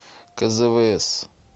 кзвс